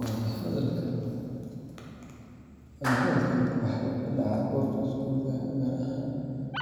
Wada hadalkan waxa uu ka dhacaa goobta iskuulka, gaar ahaan